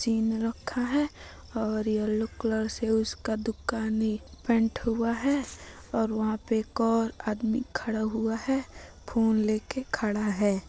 चीन रखा है और येल्लो कलर से उसका दुकान नी पेंट हुआ है और वहाँ पर एक ओर आदमी खड़ा हुआ है फ़ोन लेके खड़ा है।